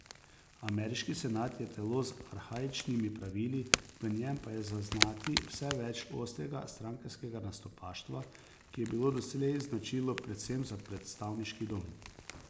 Ameriški senat je telo z arhaičnimi pravili, v njem pa je zaznati vse več ostrega strankarskega nastopaštva, ki je bilo doslej značilno predvsem za predstavniški dom.